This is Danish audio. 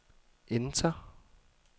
enter